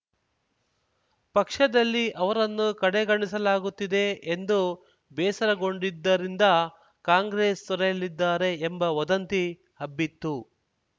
ಪಕ್ಷದಲ್ಲಿ ಅವರನ್ನು ಕಡೆಗಣಿಸಲಾಗುತ್ತಿದೆ ಎಂದು ಬೇಸರಗೊಂಡಿದ್ದರಿಂದ ಕಾಂಗ್ರೆಸ್‌ ತೊರೆಯಲಿದ್ದಾರೆ ಎಂಬ ವದಂತಿ ಹಬ್ಬಿತ್ತು